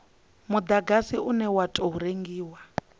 mudagasi une wa tou rengiwa